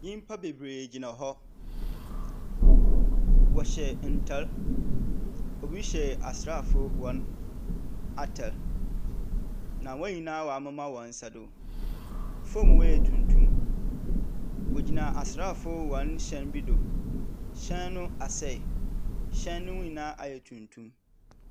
Nnipa bebree gyina hɔ, ɔhyɛ ntaade, obi hyɛ asraafo wɔn ataade. Na wɔn nyinaa wa amema wɔn nsa do. Fɔm hɔ yɛ tuntum, ɔgyina asraafo wɔn hyɛn bi do, hyɛn asɛe, hyɛn no ho nyinaa ayɛ tuntum.